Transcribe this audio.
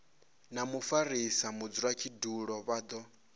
na mufarisa mudzulatshidulo vha do